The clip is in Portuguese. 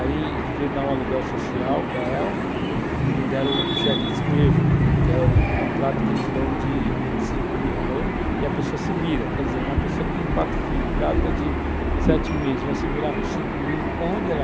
Aí devia dar um aluguel social para ela, deram o cheque de despejo, que é o contrato que eles dão de 5 mil reais, e a pessoa se vira, quer dizer, uma pessoa que tem 4 filhos, grávida de 7 meses, vai se virar com 5 mil, com onde ela?